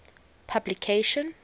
publication